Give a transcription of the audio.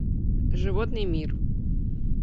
животный мир